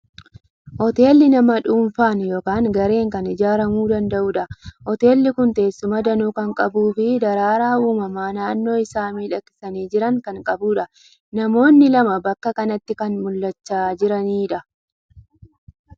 Hoteelli nama dhuunfaan yookiin gareen kan ijaaramuu danda'udha. Hoteelli kun teessuma danuu kan qabuu fi daraaraa uumamaa naannoo isaa miidhagsanii jiran kan qabudha. Namoonni lama bakka kanatti kan mul'achaa jiranidha.